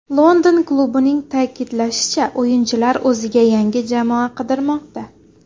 London klubining ta’kidlashicha, o‘yinchilar o‘ziga yangi jamoa qidirmoqda.